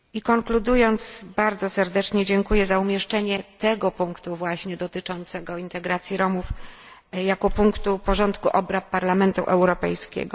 Konkludując, bardzo serdecznie dziękuję za umieszczenie tego punktu właśnie dotyczącego integracji Romów jako punktu porządku obrad Parlamentu Europejskiego.